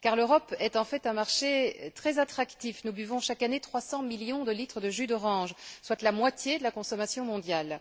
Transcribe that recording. Car l'Europe est en fait un marché très attractif nous buvons chaque année 300 millions de litres de jus d'orange, soit la moitié de la consommation mondiale.